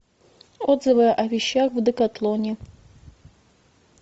отзывы о вещах в декатлоне